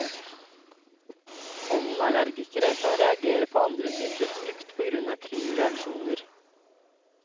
Pollenallergikere kan reagere på andre typer frukt på grunn av kryssreaksjoner.